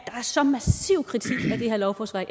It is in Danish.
er så massiv kritik af det her lovforslag